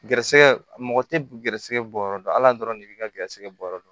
Garisɛgɛ mɔgɔ tɛ garizigɛ bɔ yɔrɔ dɔn ala dɔrɔn de b'i ka garizɛgɛ bɔ yɔrɔ dɔn